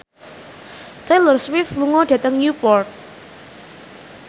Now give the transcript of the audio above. Taylor Swift lunga dhateng Newport